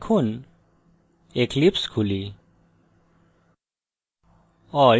এখন eclipse খুলি